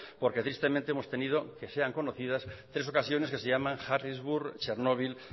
porque tristemente hemos tenido que sean conocidas tres ocasiones que se llaman harrisburg chernobyl